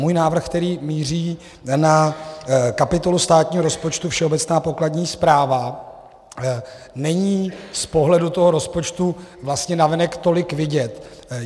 Můj návrh, který míří na kapitolu státního rozpočtu Všeobecná pokladní správa, není z pohledu toho rozpočtu vlastně navenek tolik vidět.